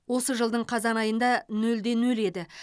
осы жылдың қазан айында нөл де нөл еді